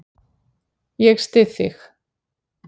Ég styð þig.